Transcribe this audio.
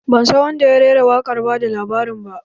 Ban san wanda ya rera waƙar bada labarin ba.